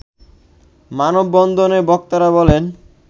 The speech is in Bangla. মানববন্ধনে বক্তারা বলেন